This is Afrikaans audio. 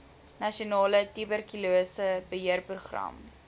nasionale tuberkulose beheerprogram